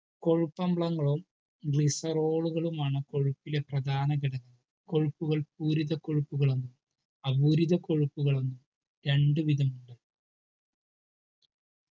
കൊഴുപ്പ് അമ്ലങ്ങളും glycerol ളുകളുമാണ് കൊഴുപ്പിലെ പ്രധാന ഘടകങ്ങൾ കൊഴുപ്പുകൾ പൂരിത കൊഴുപ്പുകളും അപൂരിത കൊഴുപ്പുകളും രണ്ടു വിധമുണ്ട്